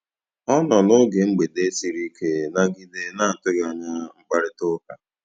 Ọ nọ n'oge mgbede siri ike nagide na atụghị anya mkparịtaụka.